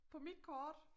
På mit kort